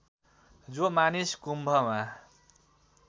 जो मानिस कुम्भमा